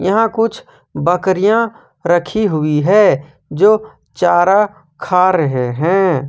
यहां कुछ बकरियां रखी हुई है जो चारा खा रहे हैं।